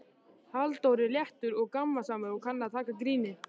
Halldór er léttur og gamansamur og kann að taka gríni.